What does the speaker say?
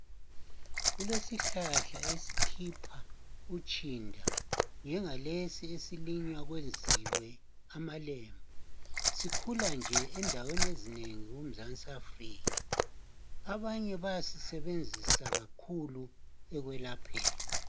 Kulesihlahla esikhipha utshinda njengalesi esilinywa kwenziwe amalembu . Sikhula nje endaweni ezinengi kuMzansi Afrika . Abanye bayasisebenzisa kakhulu ekwelapheni .